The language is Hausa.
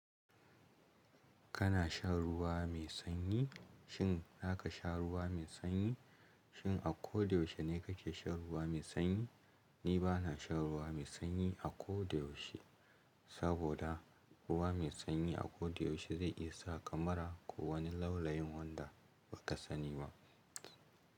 Kana shan ruwa mai sanyi? Shin zaka sha ruwa mai sanyi? Shin a koyaushe ne kake shan ruwa mai sanyi? Ni bana shan ruwa mai sanyi a ko da yaushe, saboda ruwa mai sanyi a ko da yaushe zai isa kamar ku wani launayin wanda ba ka sani ba.